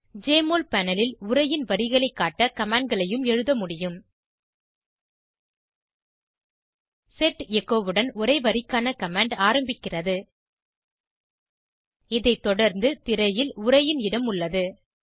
JMOL panel ல் உரையின் வரிகளை காட்ட commandகளையும் எழுத முடியும் செட் எச்சோ உடன் உரை வரிக்கான கமாண்ட் ஆரம்பிக்கிறது இதை தொடர்ந்து திரையில் உரையின் இடம் உள்ளது